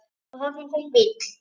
Og þarna kom bíll.